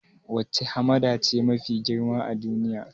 Wacce hamada ce mafi girma a duniya?